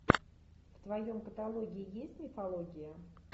в твоем каталоге есть мифология